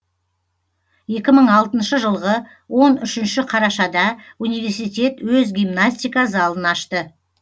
екі мың алтыншы жылғы он үшінші қарашада университет өз гимнастика залын ашты